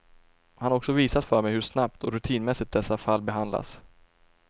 Han har också visat för mig hur snabbt och rutinmässigt dessa fall behandlas.